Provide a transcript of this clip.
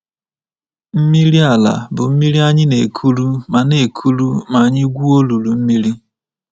Mmiri ala bụ mmiri anyị na-ekuru ma na-ekuru ma anyị gwuo olulu mmiri.